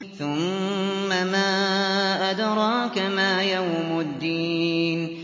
ثُمَّ مَا أَدْرَاكَ مَا يَوْمُ الدِّينِ